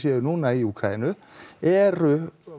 eru núna í Úkraínu eru